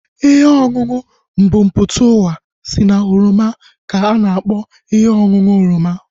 Ihe ọṅụṅụ mbumputauwa si na oroma ka a na-akpọ ihe ọṅụṅụ oroma